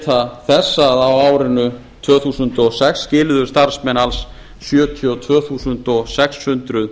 geta þess að á árinu tvö þúsund og sex skiluðu starfsmenn alls sjötíu og tvö þúsund sex hundruð